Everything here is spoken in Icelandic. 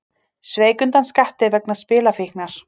Sveik undan skatti vegna spilafíknar